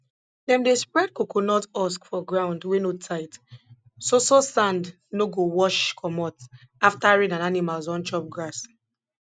dem dey spread coconut husk for ground wey no tight so so sand no go wash commot after rain and animals don chop grass